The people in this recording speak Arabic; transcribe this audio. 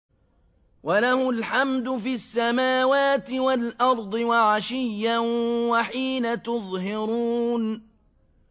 وَلَهُ الْحَمْدُ فِي السَّمَاوَاتِ وَالْأَرْضِ وَعَشِيًّا وَحِينَ تُظْهِرُونَ